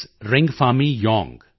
ਰਿੰਗਫਾਮੀ ਯੌਂਗ t